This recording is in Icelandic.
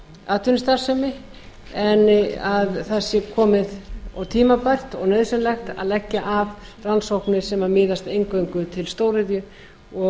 atvinnustarfsemi en það sé tímabært og nauðsynlegt að leggja af rannsóknir sem miðast eingöngu við stóriðju og